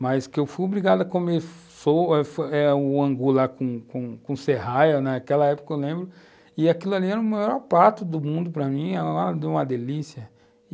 mas que eu fui obrigado a comer o angu lá com com serraia, naquela época, eu lembro, e aquilo ali era o maior prato do mundo para mim, era uma delícia.